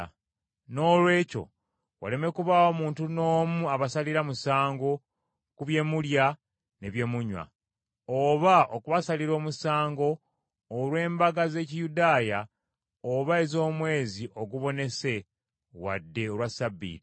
Noolwekyo waleme kubaawo muntu n’omu abasalira musango ku bye mulya ne bye munywa, oba okubasalira omusango olw’embaga z’Ekiyudaaya oba ez’omwezi ogubonese wadde olwa Ssabbiiti.